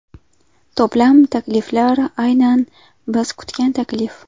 To‘plam takliflar aynan biz kutgan taklif.